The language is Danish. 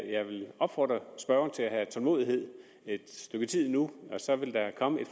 jeg vil opfordre spørgeren til at have tålmodighed et stykke tid endnu og så vil der komme